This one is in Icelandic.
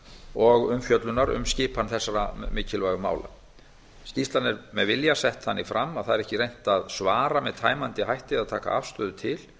og umfjöllunar um skipan þessara mikilvægu mála skýrslan er með vilja sett þannig fram að það er ekki reynt að svara með tæmandi hætti eða taka afstöðu til